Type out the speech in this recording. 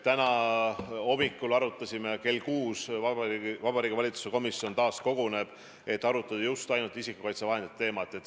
Täna hommikul me arutasime seda ja kell 6 Vabariigi Valitsuse komisjon taas koguneb, et arutada just nimelt isikukaitsevahendite teemat.